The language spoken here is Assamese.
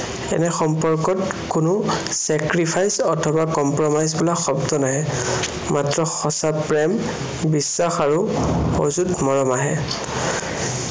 এনে সম্পৰ্কত কোনো sacrifice অথবা compromise বোলা শব্দ নাহে। মাত্ৰ সঁচা প্ৰেম, বিশ্বাস আৰু অযুঁত মৰম আহে।